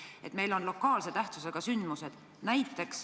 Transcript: Meil võib juhtuda lokaalse mõjuga sündmusi.